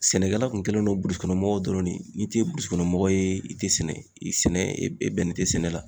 Sɛnɛkɛla kun kɛlen don burusukɔnɔmɔgɔw dɔrɔn de ye n'i te burusukɔnɔmɔgɔ ye i te sɛnɛ sɛnɛ ee e bɛn nen tɛ sɛnɛ la